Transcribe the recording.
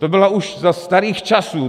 To bylo už za starých časů.